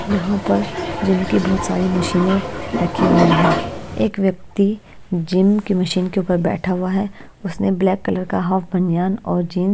यहाँ पर जिम की बहोत सारी मशीनें रखी हुई हैं एक व्यक्ति जिम की मशीन के ऊपर बैठा हुआ है उसने ब्लैक कलर का हाफ बनियान और जींस --